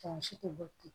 Mansin tɛ bɔ ten